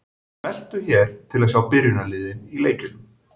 Smelltu hér til að sjá byrjunarliðin í leikjunum.